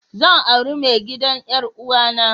Zan aure mai gidan 'yar'uwa na.